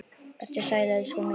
Vertu sæl, elskan mín.